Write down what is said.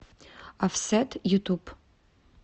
офсет ютуб